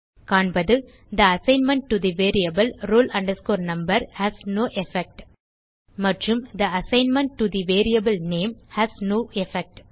காண்பது the assignment to the variable roll number has no effect மற்றும் the assignment to the variable name has no effect